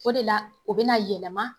O de la o bɛna yɛlɛma.